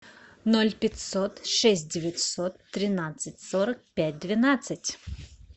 ноль пятьсот шесть девятьсот тринадцать сорок пять двенадцать